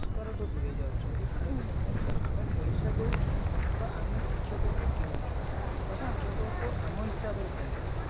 ଦୂରେଇଯାଉଛନ୍ତି ଯାଉଟା କି ଦେଖାଯାଉଛି ଆମେ ପଇସା ଦେଉଛୁ ତ ଆମେ ଶିକ୍ଷକଙ୍କୁ କିଣୁଛୁ ତ ଶିକ୍ଷକ ଆମ ହିସାବରେ ଚାଲିବେ